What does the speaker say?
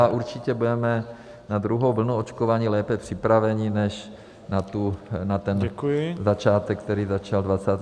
A určitě budeme na druhou vlnu očkování lépe připraveni než na ten začátek, který začal 27. prosince.